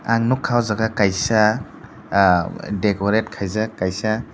ang nukha oh jaga kaisa aa decorate khaijak kaisa.